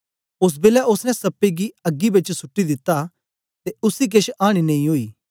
ओस बेलै ओसने सप्पे गी अग्गी बेच सुट्टी दिता ते उसी केछ आनी नेई ओई